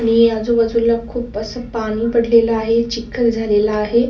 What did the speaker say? आणि आजूबाजूला खूप अस पानी पडलेल आहे. चिखल झालेला आहे.